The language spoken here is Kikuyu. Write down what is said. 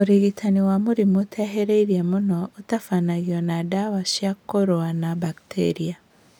ũrigitani wa mũrimũ ũtehĩrĩirie mũno ũtabanagio na ndawa cia kũrũa na baketria